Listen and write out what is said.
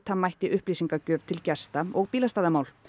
mætti upplýsingagjöf til gesta og bílastæðamál